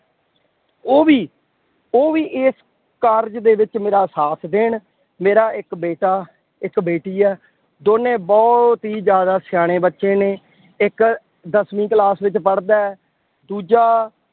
ਉਹ ਵੀ ਉਹ ਵੀ ਇਸ ਕਾਰਜ ਦੇ ਵਿੱਚ ਮੇਰਾ ਸਾਥ ਦੇਣ। ਮੇਰਾ ਇੱਕ ਬੇਟਾ, ਇੱਕ ਬੇਟੀ ਹੈ, ਦੋਨੇ ਬਹੁਤ ਹੀ ਜ਼ਿਆਦਾ ਸਿਆਣੇ ਬੱਚੇ ਨੇ, ਇੱਕ ਦਸਵੀਂ class ਵਿੱਚ ਪੜਦਾ ਹੈ। ਦੂਜਾ